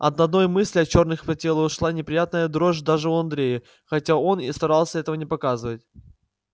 от одной мысли о чёрных по телу шла неприятная дрожь даже у андрея хотя он и старался этого не показывать